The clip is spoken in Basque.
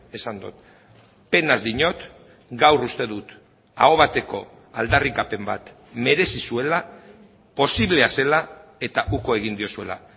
esan dut penaz diot gaur uste dut aho bateko aldarrikapen bat merezi zuela posiblea zela eta uko egin diozuela